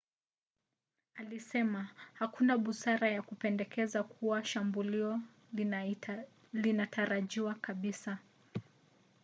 alisema hakuna busara ya kupendekeza kuwa shambulio linatarajiwa kabisa